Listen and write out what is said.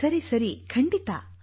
ಸರಿ ಸರಿ ಖಂಡಿತಾ